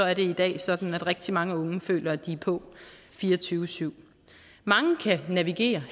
er det i dag sådan at rigtig mange unge føler at de er på fire og tyve syv mange kan navigere